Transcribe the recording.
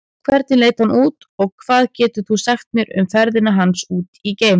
Hvernig leit hann út og hvað getur þú sagt mér um ferðina hans út geim?